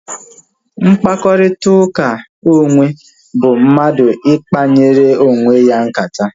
Mkparịta ụka onwe bụ mmadụ ikpanyere onwe ya nkata